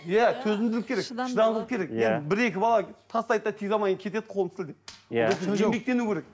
иә төзімділік керек шыдамдылық керек иә бір екі бала тастайды да тигізе алмай кетеді қолын сілтеп иә еңбектену керек